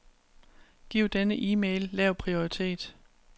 Giv denne e-mail lav prioritet.